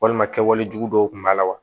Walima kɛwale jugu dɔw kun b'a la wa